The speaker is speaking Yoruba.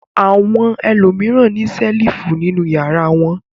Àwọn ẹlòmíràn ní ṣẹ́lífù nínú ìyàrá wọn.